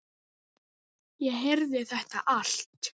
Ég heyrði þetta allt.